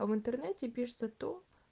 в интернете пишется то